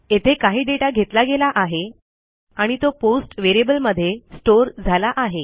येथे काही dataघेतला गेला आहे आणि तो postव्हेरिएबलमध्ये स्टोअर झाला आहे